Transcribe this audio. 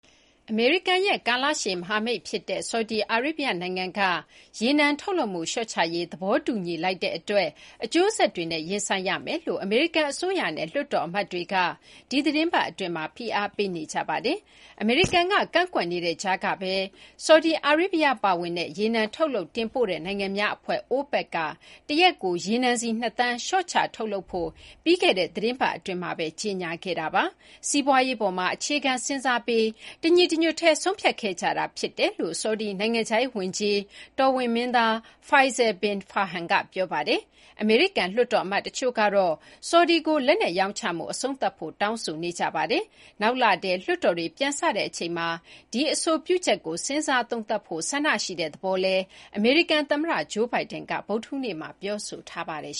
အမေရိကန်ရဲ့ ကာလရှည် မဟာမိတ် ဖြစ်တဲ့ ဆော်ဒီအာရေဗျ နိုင်ငံက ရေနံထုတ်လုပ်မှု လျှော့ချရေး သဘောတူညီလိုက်တဲ့ အတွက် အကျိုးဆက်တွေနဲ့ ရင်ဆိုင်ရမယ်လို့ အမေရိကန် အစိုးရနဲ့ လွှတ်တော် အမတ်တွေက ဒီသီတင်းပတ် အတွင်းမှာ ဖိအားပေးနေကြပါတယ်။ အမေရိကန်က ကန့်ကွက်နေတဲ့ ကြားထဲကဘဲ ဆော်ဒီအာရေဗျ ပါဝင်တဲ့ ရေနံထုတ်လုပ်တင်ပို့တဲ့ နိုင်ငံများ အဖွဲ့ OPEC က တရက်ကို ရေနံစည် ၂ သန်း လျှော့ချ ထုတ်လုပ်ဖို့ ပြီးခဲ့တဲ့ သီတင်းပတ် အတွင်းမှာဘဲ ကြေညာခဲ့တာပါ။ စီးပွားရေး အပေါ်မှာ အခြေခံ စဉ်းစားပြီး တညီတညွတ်တည်း ဆုံးဖြတ်ခဲ့ကြတာ ဖြစ်တယ်လို့ ဆော်ဒီ နိုင်ငံခြားရေး ဝန်ကြီး တော်ဝင်မင်းသား Faisal bin Farhan က ပြောပါတယ်။ အမေရိကန် လွှတ်တော် အမတ် တချို့ကတော့ ဆော်ဒီကို လက်နက် ရောင်းချမှု အဆုံးသတ်ဖို့ တောင်းဆိုနေကြပါတယ်။ နောက်လထဲ လွှတ်တော်တွေ ပြန်စတဲ့ အချိန်မှာ ဒီ အဆိုပြုချက်ကို စဉ်းစား သုံးသပ်ဖို့ ဆန္ဒရှိတဲ့ သဘောလည်း အမေရိကန် သမ္မတ Joe Biden က ဗုဒ္ဓဟူးနေ့မှာ ပြောဆိုထားပါတယ်